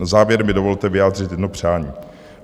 Na závěr mi dovolte vyjádřit jedno přání.